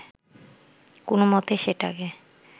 কোনমতে সেটাকে